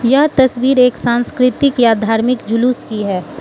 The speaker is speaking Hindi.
यह तस्वीर एक संस्कृति या धार्मिक जुलूस की है।